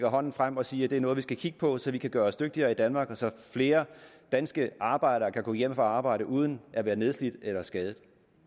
hånden frem og siger at det er noget vi skal kigge på så vi kan gøre os dygtigere i danmark og så flere danske arbejdere kan gå hjem fra arbejde uden at være nedslidte eller skadede